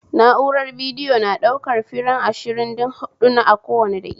Na'urar bidiyo na ɗaukan firem ashirinda huɓɗu ne a kowa daƙiƙa